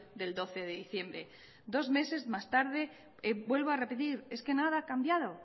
del doce de diciembre dos meses más tarde vuelvo a repetir es que nada ha cambiado